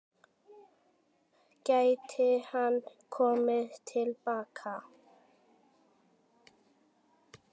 Gæti hann komið til baka?